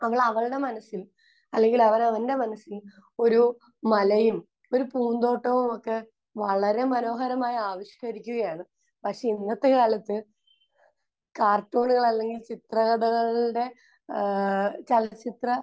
അവൾ അവളുടെ മനസ്സിൽ അല്ലെങ്കിൽ അവൻ അവന്റെ മനസ്സിൽ ഒരു മലയും ഒരു പൂന്തോട്ടവും ഒക്കെ വളരെ മനോഹരമായി ആവിഷ്കരിക്കുകയാണ്. പക്ഷെ ഇന്നത്തെക്കാലത്ത് കാർട്ടൂണുകൾ അല്ലെങ്കിൽ ചിത്രകഥകളുടെ ഏഹ് ചലച്ചിത്ര